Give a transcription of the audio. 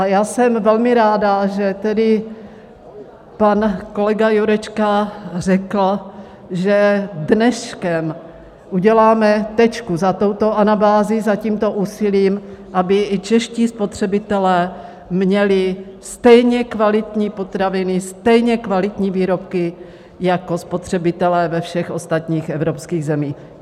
A já jsem velmi ráda, že tedy pan kolega Jurečka řekl, že dneškem uděláme tečku za touto anabází, za tímto úsilím, aby i čeští spotřebitelé měli stejně kvalitní potraviny, stejně kvalitní výrobky jako spotřebitelé ve všech ostatních evropských zemích.